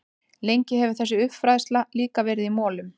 Lengi hefur þessi uppfræðsla líka verið í molum.